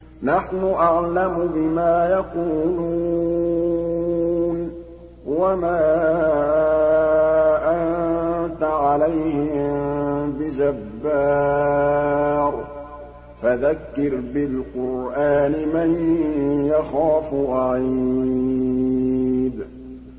نَّحْنُ أَعْلَمُ بِمَا يَقُولُونَ ۖ وَمَا أَنتَ عَلَيْهِم بِجَبَّارٍ ۖ فَذَكِّرْ بِالْقُرْآنِ مَن يَخَافُ وَعِيدِ